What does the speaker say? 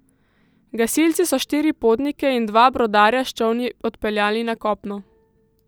Gasilci so štiri potnike in dva brodarja s čolni odpeljali na kopno.